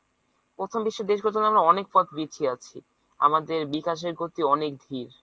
প্রথম বিশের দেশগুলো থেকে আমরা অনেক পিছিয়ে আছি। আমাদের বিকাশের গতি অনেক ধীর।